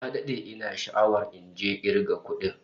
Na dade ina sha'awar injin kirga kudin